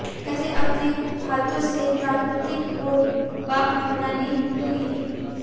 कैसे अपने हाथों से प्राकृतिक होंठ बाम बनाने के लिए